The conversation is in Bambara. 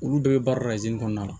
Olu bɛɛ bɛ baara kɔnɔna la